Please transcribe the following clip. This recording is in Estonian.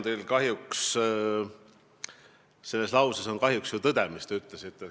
Selles lauses, mis te ütlesite, on kahjuks ju tõde.